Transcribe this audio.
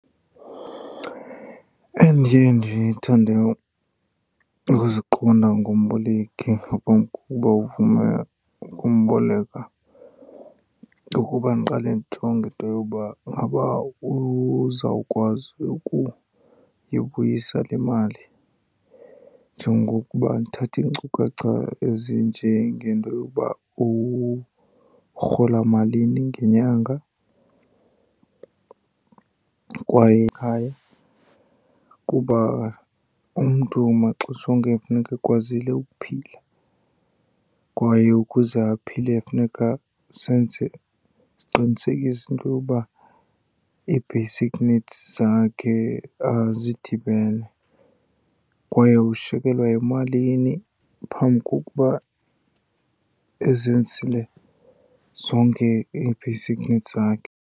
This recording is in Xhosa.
Endiye ndithande ukuziqonda ngomboleki ngaphambi kokuba uvume ukumboleka ukuba ndiqale ndijonge into yoba ingaba uzawukwazi ukuyibuyisa le mali, njengokuba ndithathe iinkcukacha ezinjengento yokuba urhola malini ngenyanga. Kwaye ekhaya, kuba umntu maxesha onke kufuneka ekwazile ukuphila kwaye ukuze aphile kufuneka senze, siqinisekise into yoba ii-basic needs zakhe zidibene, kwaye ushiyekelwe yimalini phambi kokuba ezenzile zonke ii-basic needs zakhe.